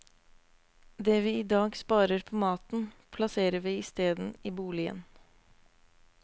Det vi i dag sparer på maten, plasserer vi isteden i boligen.